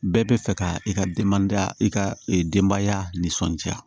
Bɛɛ bɛ fɛ ka i ka denbaya i ka denbaya nisɔndiya